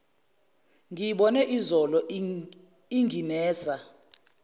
ngiyibone izolo inginesa